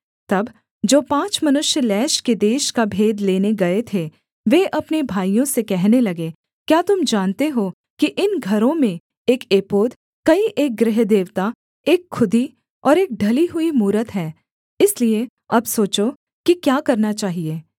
तब जो पाँच मनुष्य लैश के देश का भेद लेने गए थे वे अपने भाइयों से कहने लगे क्या तुम जानते हो कि इन घरों में एक एपोद कई एक गृहदेवता एक खुदी और एक ढली हुई मूरत है इसलिए अब सोचो कि क्या करना चाहिये